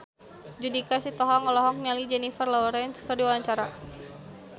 Judika Sitohang olohok ningali Jennifer Lawrence keur diwawancara